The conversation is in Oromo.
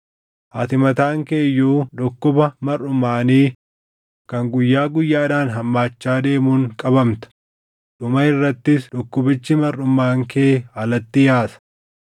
Ati mataan kee iyyuu dhukkuba marʼumaanii kan guyyaa guyyaadhaan hammaachaa deemuun qabamta; dhuma irrattis dhukkubichi marʼumaan kee alatti yaasa.’ ”